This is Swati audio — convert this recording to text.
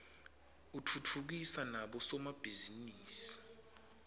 utfutfukisa nabo somabhizinisi